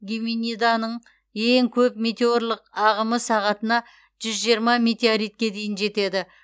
геминиданың ең көп метеорлық ағымы сағатына жүз жиырма метеоритке дейін жетеді